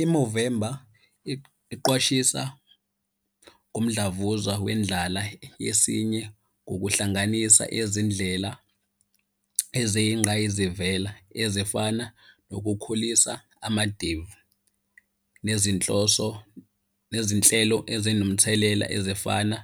I-Movember iqwashisa ngomdlavuza wendlala yesinye ngokuhlanganisa izindlela eziyingqayizivela ezifana nokukhulisa amadevu nezinhloso, nezinhlelo ezinomthelela ezifana